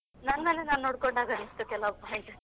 ನನ್ನನ್ನೇ ನಾನ್ ನೋಡ್ಕೊಂಡ ಹಾಗೆ ಅನಿಸ್ತು ಕೆಲವು point.